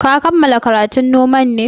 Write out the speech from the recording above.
Ka kammala karatun noman ne?